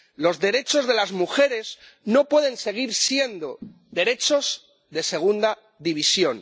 Los derechos de las mujeres no pueden seguir siendo derechos de segunda división.